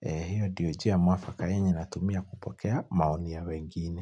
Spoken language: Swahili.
Eh hio ndio njia mwafaka yenye natumia kupokea maoni ya wengine.